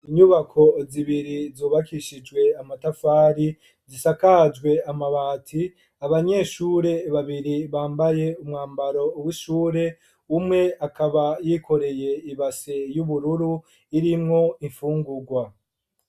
Inyubako zibiri zubakishijwe amatafari, zisakajwe amabati, abanyeshure babiri bambaye umwambaro w'ishure, umwe akaba yikoreye ibase y'ubururu irimwo imfungurwa.